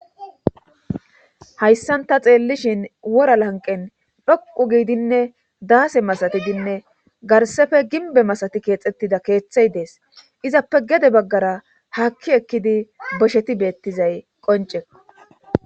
Hayssan ta xeellishin wora lanqen dhoqu giidinne daase masatidinne garsefe ginbe masati keexxettida keeththey dees izappe gede baggara hakki ekkidi bosheti beettizay qonce.